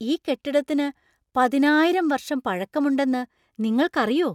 ഈ കെട്ടിടത്തിനു പതിനായിരം വർഷം പഴക്കമുണ്ടെന്ന് നിങ്ങൾക്കറിയോ ?